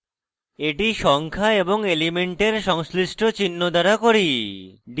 এটি সংখ্যা এবং element সংশ্লিষ্ট চিহ্ন দ্বারা করি